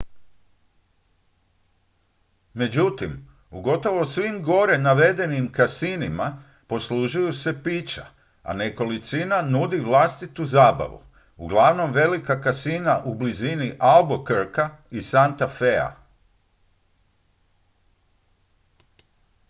međutim u gotovo svim gore navedenim kasinima poslužuju se pića a nekolicina nudi vlastitu zabavu uglavnom velika kasina u blizini albuquerquea i santa fea